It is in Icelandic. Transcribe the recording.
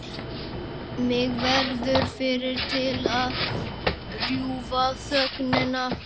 Magga verður fyrri til að rjúfa þögnina.